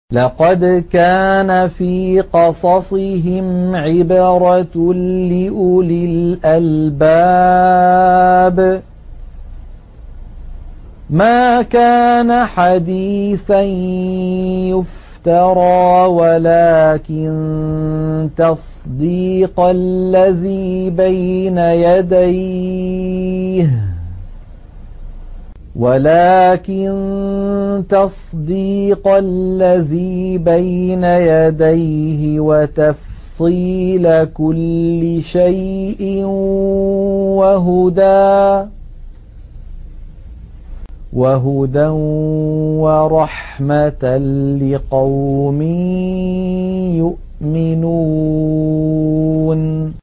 لَقَدْ كَانَ فِي قَصَصِهِمْ عِبْرَةٌ لِّأُولِي الْأَلْبَابِ ۗ مَا كَانَ حَدِيثًا يُفْتَرَىٰ وَلَٰكِن تَصْدِيقَ الَّذِي بَيْنَ يَدَيْهِ وَتَفْصِيلَ كُلِّ شَيْءٍ وَهُدًى وَرَحْمَةً لِّقَوْمٍ يُؤْمِنُونَ